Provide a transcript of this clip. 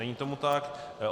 Není tomu tak.